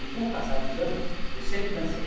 E, com o passar dos anos, eu sempre dancei.